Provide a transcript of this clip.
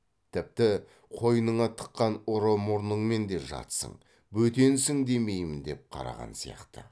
тіпті қойныңа тыққан ұры мұрыңмен де жатсың бөтенсің демеймін деп қараған сияқты